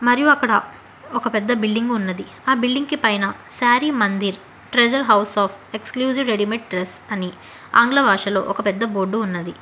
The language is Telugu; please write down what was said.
మరియు అక్కడ ఒక పెద్ద బిల్డింగ్ ఉన్నది ఆ బిల్డింగ్ కి పైన Saree Mandir treasure house of exclusive readymade dress అని ఆంగ్ల భాషలో ఒక పెద్ద బోర్డు ఉన్నది